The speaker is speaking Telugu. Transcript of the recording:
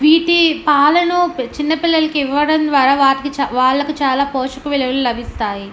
వీటి పాలను చిన్నపిల్లలకి ఇవ్వడం ద్వారా వారికి చాలా పోషక విలువలు లభిస్తాయి.